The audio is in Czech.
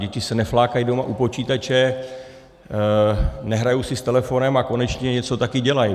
Děti se neflákají doma u počítače, nehrají si s telefonem a konečně něco také dělají.